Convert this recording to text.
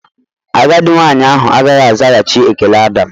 Agadi nwanyị ahụ agaghị azaghachi ekele Adam.